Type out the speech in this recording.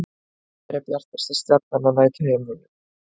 Hver er bjartasta stjarnan á næturhimninum?